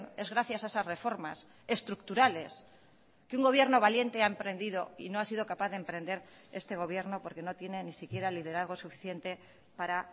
es gracias a esas reformas estructurales que un gobierno valiente ha emprendido y no ha sido capaz de emprender este gobierno porque no tienen ni siquiera liderazgo suficiente para